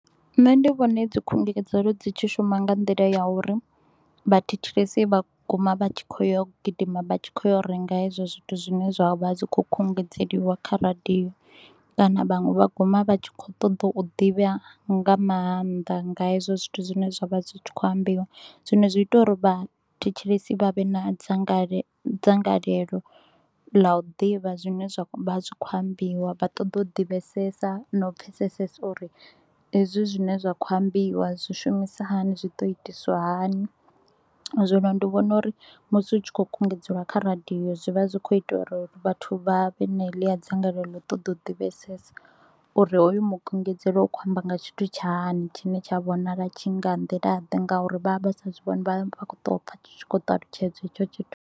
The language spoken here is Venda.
Nṋe ndi vhona hedzi khungedzelo dzi tshi shuma nga nḓila ya uri vhathetshelesi vha guma vha tshi kho u ya u gidima, vha tshi kho u ya u renga hezwo zwithu zwine zwa vha zwi tshi kho u khungedzeliwa kha radio, kana vhaṅwe vha guma vha tshi kho u ṱoḓa u ḓivha nga maanḓa nga hezwo zwithu zwine zwa vha zwi tshi kho u ambiwa. Zwino zwi ita uri vha thetshelesi vha vhe na dzangalelo dzangalelo ḽa u ḓivha zwine zwa vha zwi kho u ambiwa, vha ṱoḓa u divhesesa na u pfesesesa uri hezwi zwine zwa kho u ambiwa zwi shumisa hani, zwi ḓo itiswa hani. Zwino ndi vhona uri musi hu tshi kho u khungedzeliwa kha radio, zwi vha zwi kho u ita uri vhathu vha vhe na heḽia dzangalelo ḽa u ṱoḓa u divhesesa uri hoyu mukungedzelo u khou amba nga tshithu tsha hani tshine tsha vhonala tshi nga nḓila ḓe nga uri vha vha vha sa zwi vhoni vha vha kho u to u pfa tshi tshi kho u talutshedzwa hetsho tshithu.